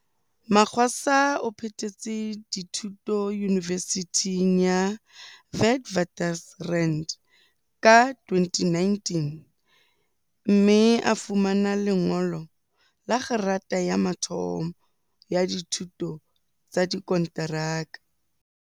Magwaza o phethetse dithu to Yunivesithing ya Witwaters rand ka 2019, mme a fumana lengolo la kgerata ya mathomo ya dithuto tsa dikonteraka.